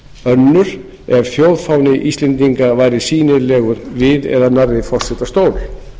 önnur ef þjóðfáni íslendinga væri sýnilegur við eða nærri forsetastól